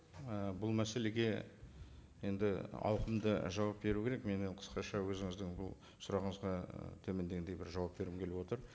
і бұл мәселеге енді ауқымды жауап беру керек мен енді қысқаша өзіңіздің бұл сұрағыңызға і төмендегіндей бір жауап бергім келіп отыр